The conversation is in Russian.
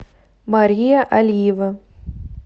мария алиева